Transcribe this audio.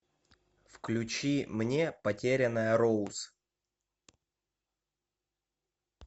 включи мне потерянная роуз